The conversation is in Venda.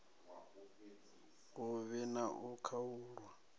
hu vhi na u khaulwa